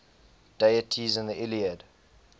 deities in the iliad